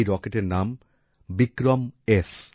এই রকেটের নাম বিক্রম স্